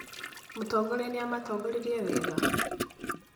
Mũtongoria nĩamatongoririe wega?